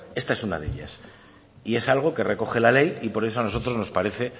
esta es una de ellas y es algo que recoge la ley y por eso a nosotros nos parece